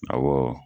Awɔ